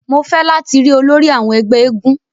Mó fẹ lati ri ólòri awọn ẹgbẹ èègún!